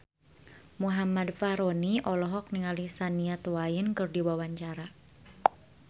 Muhammad Fachroni olohok ningali Shania Twain keur diwawancara